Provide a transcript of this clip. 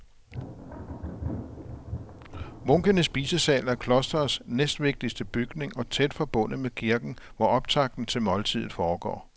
Munkenes spisesal er klostrets næstvigtigste bygning og tæt forbundet med kirken, hvor optakten til måltidet foregår.